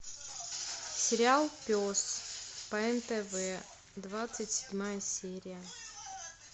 сериал пес по нтв двадцать седьмая серия